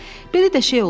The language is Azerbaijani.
Belə də şey olar?